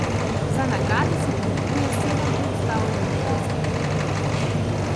Za nagrade se poteguje sedem predstav ljubiteljskih gledališč.